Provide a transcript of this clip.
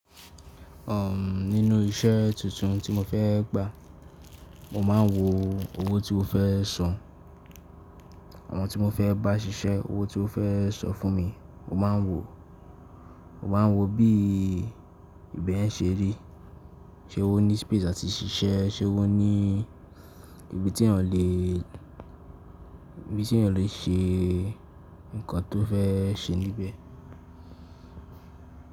Nínú iṣẹ́ tuntun tí mo fẹ́ gbà, mo máa ń wo owó tí wó fẹ́ san. Àwọn tí mo fẹ́ bá ṣiṣẹ́, owó tí wọ́n fẹ́ san fún mi, mo máa ń wò. Mo máa ń wo bí ìbẹ̀ ṣe rí, ṣe ó ní space áti ṣiṣẹ́, ṣe ó ní ibi tí èèyàn lè ṣe nǹkan tó fẹ́ ṣe níbẹ̀.